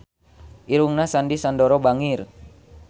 Irungna Sandy Sandoro bangir